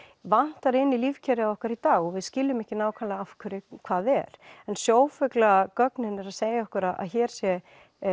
vantar í lífkerfið okkar í dag við skiljum ekki nákvæmlega af hverju hvað er en sjófuglagögnin eru að segja okkur að hér sé